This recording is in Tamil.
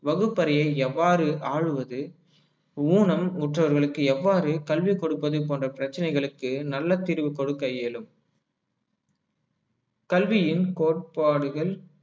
வகுப்பறையை எவ்வாறு ஆளுவது ஊனம் முற்றவர்களுக்கு எவ்வாறு கல்வி கொடுப்பது போன்ற பிரச்சனைகளுக்கு நல்ல தீர்வு கொடுக்க இயலும் கல்வியின் கோட்பாடுகள்